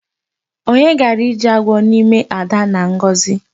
Onye gara ije agwọ n'ime Ada na Ngọzi?